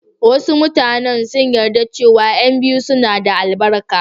Wasu mutanen sun yarda cewa ƴan biyu suna da albarka.